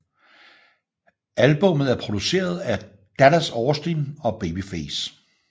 Albummet er produceret af Dallas Austin og Babyface